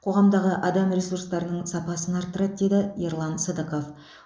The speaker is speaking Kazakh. қоғамдағы адам ресурстарының сапасын арттырады деді ерлан сыдықов